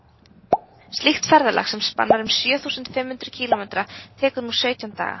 slíkt ferðalag sem spannar um sjö þúsund fimm hundruð kílómetra tekur nú sautján daga